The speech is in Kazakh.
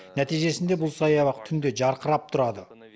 нәтижесінде бұл саябақ түнде жарқырап тұрады